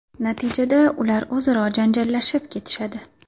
Natijada ular o‘zaro janjallashib ketishadi.